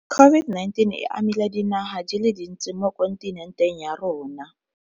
COVID-19 e amile dinaga di le dintsi mo kontinenteng ya rona.